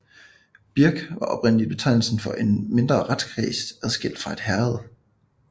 Birk var oprindeligt betegnelsen for en mindre retskreds adskilt fra et herred